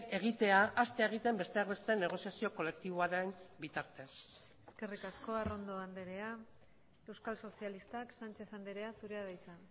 egitea hastea egiten besteak beste negoziazio kolektiboaren bitartez eskerrik asko arrondo andrea euskal sozialistak sánchez andrea zurea da hitza